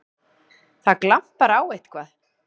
Það glampar á eitthvað!